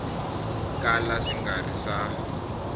kala swi nga ri swa